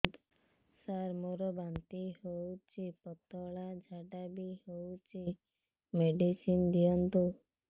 ସାର ମୋର ବାନ୍ତି ହଉଚି ପତଲା ଝାଡା ବି ହଉଚି ମେଡିସିନ ଦିଅନ୍ତୁ